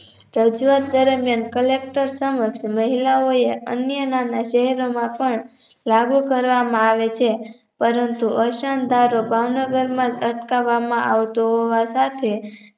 રજુઆત દરમ્યાન collector સમક્ષ અન્યના શહેરોમાં પણ લાગુ કરવામાં આવે છે પરંતુ અસનઢારો ભાવનગરના અટકાવામાં આવતો હોવા સાથે